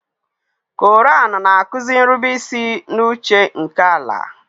Koraan na-akuzi nrubeisi n'uche nke Allàh.